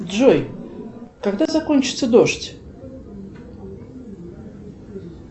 джой когда закончится дождь